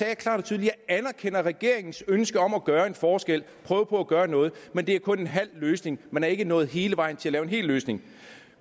jeg klart og tydeligt regeringens ønske om at gøre en forskel og prøve på at gøre noget men det er kun en halv løsning man er ikke nået hele vejen til at lave en hel løsning